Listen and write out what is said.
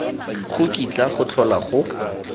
go kitla go tlhola go